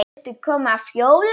Viltu koma að hjóla?